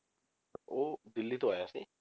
ਉਹ ਦਿੱਲੀ ਤੋਂ ਆਇਆ ਸੀ।